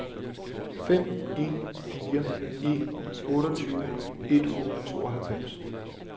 fem en fire en otteogtyve et hundrede og tooghalvfems